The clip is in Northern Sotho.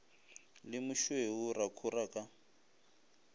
le mošweu ra khora ka